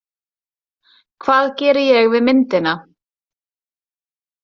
Hvað geri ég við myndina?